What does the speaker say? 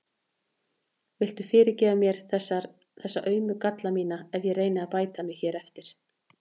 Viltu fyrirgefa mér þessa aumu galla mína ef ég reyni að bæta mig hér eftir?